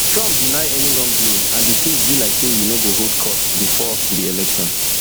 trump deny any wrongdoing and di case be like say e no go hold court bifor di election